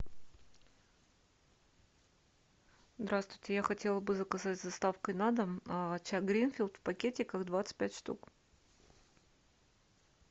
здравствуйте я хотела бы заказать с доставкой на дом чай гринфилд в пакетиках двадцать пять штук